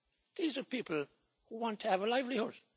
These are people who want to have a livelihood.